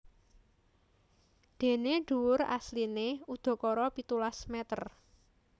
Déné dhuwur asliné udakara pitulas mèter